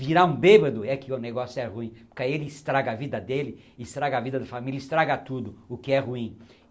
Virar um bêbado é que o negócio é ruim, porque aí ele estraga a vida dele, estraga a vida da família, estraga tudo, o que é ruim.